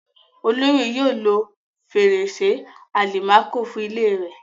Olóyè yóò lo fèrèsé àlìmákò fún ilée rẹ̀.